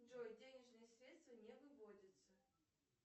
джой денежные средства не выводятся